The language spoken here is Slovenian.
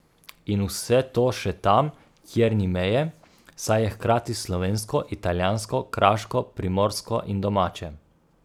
In vse to še tam, kjer ni meje, saj je hkrati slovensko, italijansko, kraško, primorsko in domače.